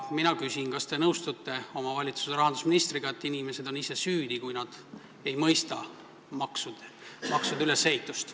Mina küsin, kas te nõustute oma valitsuse rahandusministriga, et inimesed on ise süüdi, kui nad ei mõista maksude ülesehitust.